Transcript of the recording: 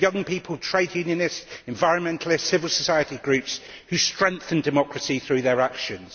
These are young people, trade unionists, environmentalists and civil society groups, who strengthen democracy through their actions.